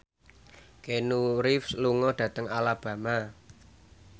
Keanu Reeves lunga dhateng Alabama